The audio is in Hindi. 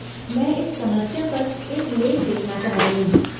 मैं इस समस्या पर एक लेख लिखना चाहती हूँ।